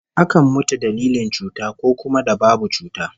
Akan mutu dalilin cuta, ko kuma da babu cuta